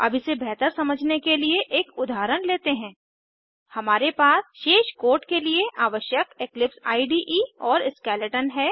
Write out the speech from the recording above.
अब इसे बेहतर समझने के लिए एक उदाहरण लेते हैं हमारे पास शेष कोड के लिए आवश्यक इक्लिप्स इडे और स्केलेटन है